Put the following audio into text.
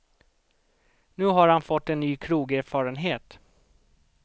Nu har han fått en ny krogerfarenhet.